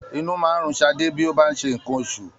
Inú máa ń run Ṣadé bí ó bá ń ṣe nǹkan oṣù.